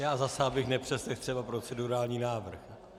Já zase abych nepřeslechl třeba procedurální návrh.